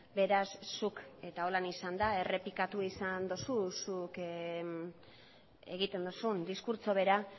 beraz zuk eta holan izan da errepikatu izan dozu zuk egiten duzun diskurtso bera